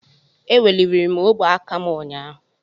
Eweliri m ogwe aka m ụnyahụ.